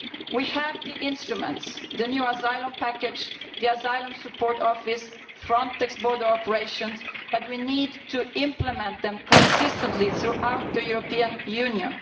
We have the instruments the new asylum package, the Asylum Support Office, Frontex border operations but we need to implement them consistently throughout the European Union.